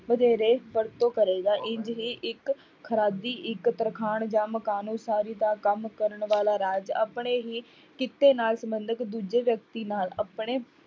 ਵਧੇਰੇ ਵਰਤੋਂ ਕਰੇਗਾ, ਇੰਞ ਹੀ ਇੱਕ ਇੱਕ ਤਰਖਾਣ ਜਾਂ ਮਕਾਨ ਉਸਾਰੀ ਦਾ ਕੰਮ ਕਰਨ ਵਾਲਾ ਰਾਜ ਆਪਣੇ ਹੀ ਕਿੱਤੇ ਨਾਲ ਸੰਬੰਧਿਤ ਦੂਜੇ ਵਿਅਕਤੀ ਨਾਲ ਆਪਣੇ